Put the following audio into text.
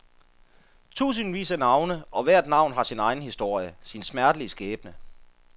Tusindvis af navne og hvert navn har sin egen historie, sin smertelige skæbne.